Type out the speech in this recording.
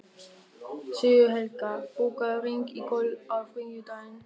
Sigurhelga, bókaðu hring í golf á þriðjudaginn.